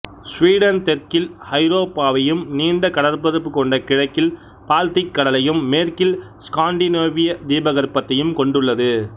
Sweden தெற்கில் ஐரோப்பாவையும் நீண்ட கடற்பரப்பு கொண்ட கிழக்கில் பால்திக் கடலையும் மேற்கில் ஸ்காண்டிநேவிய தீபகற்பத்தையும் கொண்டுள்ளது